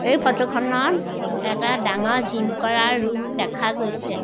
এই ফটো খনত এটা ডাঙৰ জিম কৰা ৰুম দেখা গৈছে।